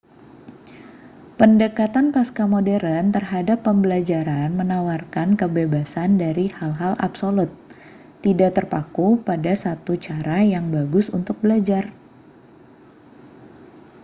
pendekatan pascamodern terhadap pembelajaran menawarkan kebebasan dari hal-hal absolut tidak terpaku pada satu cara yang bagus untuk belajar